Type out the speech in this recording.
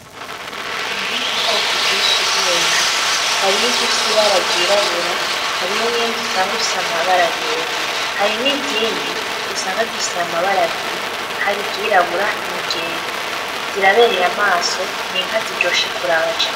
Ubwoko bwinshi bw'inka harih 'izifis 'ibara ryirabura hariho n'iyindi usang ifis'amabara yera hari n'izindi usanga zise amabara abiri:iryirabura niryera ziraberey'ijisho n'inka ziryoshe kuraba cane.